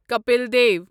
Kapil Dev